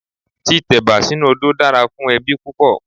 Tí tẹ̀bà sínu odó dára fún ẹbí púpọ̀.